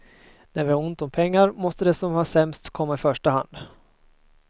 När vi har ont om pengar måste de som har det sämst komma i första hand.